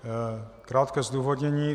Krátké zdůvodnění.